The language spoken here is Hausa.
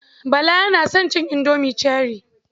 Bala yana son cin indomi cherie.